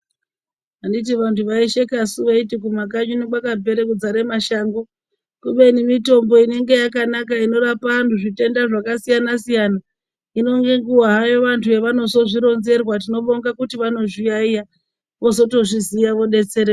Anditi vantu vaisheka piyani vachiti kumakanyi unono kwakapera kuzara mashango kubeni mitombo inenge yakanaka inorapa antu zvitenda zvakasiyana hino ngenguwa vantu pavanozvironzerwa tinobonga kuti vanozviyaiya vozoto zviziya vodetsereka.